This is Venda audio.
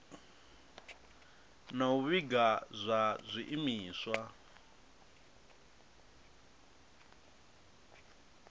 na u vhiga zwa zwiimiswa